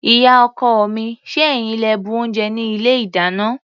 Ìyá-ọkọ mi, ṣé ẹ̀yin lẹ bu oúnjẹ ní ilé-ìdáná?